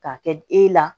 K'a kɛ e la